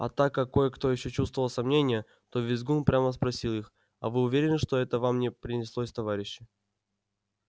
а так как кое-кто ещё чувствовал сомнение то визгун прямо спросил их а вы уверены что это вам не приснилось товарищи